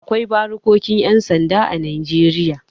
Akwai barikokin 'yan sanda a Najeriya.